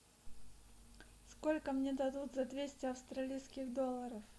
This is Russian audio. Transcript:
сколько мне дадут за двести австралийских долларов